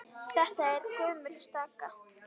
Þetta er gömul staka.